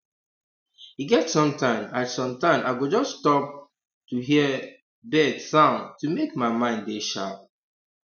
e get sometime i sometime i go just stop um to hear um bird um sound to make my mind dey sharp